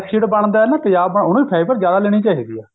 ਜਿਹਨੂੰ acid ਬਣਦਾ ਤੇਜਾਬ ਬਣਦਾ ਉਹਨੂੰ fiber ਜਿਆਦਾ ਲੇਨੀ ਚਾਹੀਦੀ ਐ